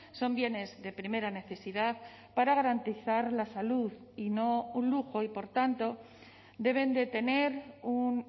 son bienes de primera necesidad para garantizar la salud y no un lujo y por tanto deben de tener un